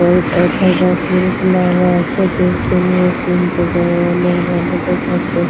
গাছ লাগা আছে। দেখতে নিয়ে সিন -টো দা অনেক ভালো দেখাচ্ছে।